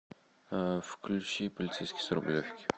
включи полицейский с рублевки